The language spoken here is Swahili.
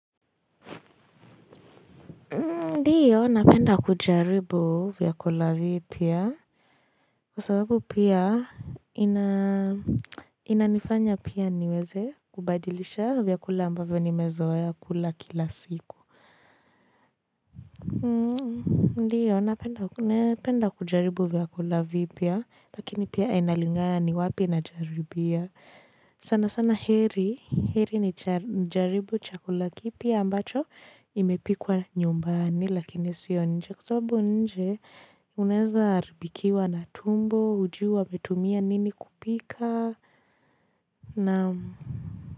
Ndiyo, napenda kujaribu vyakula vipya kwa sababu pia inanifanya pia niweze kubadilisha vyakula ambavyo nimezoea kula kila siku. Ndiyo, napenda kujaribu vyakula vipya lakini pia inalinga ni wapi najaribia. Sana sana heri, heri ni jaribu chakula kipi ambacho imepikwa nyumbani lakini sionje kwa sababu nje unaeza haribikiwa na tumbo hujui wametumia nini kupika na.